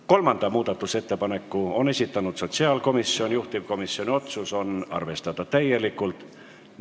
Kolmanda muudatusettepaneku on esitanud sotsiaalkomisjon, juhtivkomisjoni otsus: arvestada täielikult.